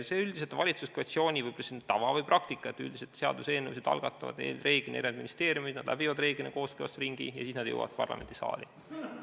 See üldiselt on valitsuskoalitsiooni, võib öelda, tavaline praktika, et seaduseelnõusid algatavad ministeeriumid, eelnõud läbivad kooskõlastusringi ja siis nad jõuavad parlamendisaali.